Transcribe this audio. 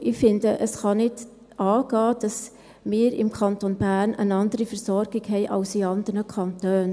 Und ich finde, es kann nicht angehen, dass wir im Kanton Bern eine andere Versorgung haben als in anderen Kantonen.